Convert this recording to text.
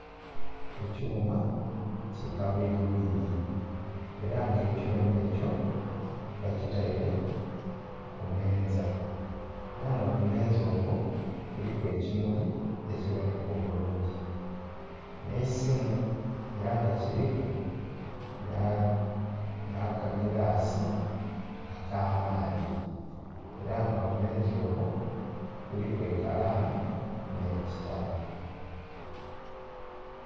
Ekyuma ki kabwidhi bwidhi era nga ekyuma ekyo bakitaire ku meenza era nga ku meenza okwo kuliku ekimuli ekiboneka obulungi nhe eisimu era nga kiliku na'ka giraasi aka maadhi era nga ku meenza okwo kuliku ekalaamu ne'kitabo.